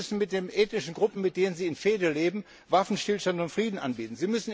Sie müssen den ethnischen Gruppen, mit denen sie in Fehde leben, Waffenstillstand und Frieden anbieten.